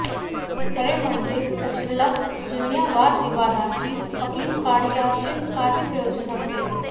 खरे म्हणजे सचिनला जुन्या वादविवादाची खपली काढण्याचे काही प्रयोजनच नव्हते